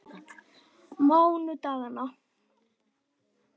mánudaganna